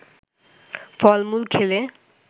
ফলমুল খেলে